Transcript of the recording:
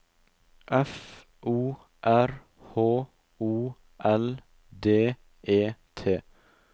F O R H O L D E T